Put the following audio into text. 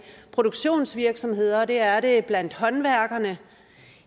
produktionsvirksomheder og det er den blandt håndværkerne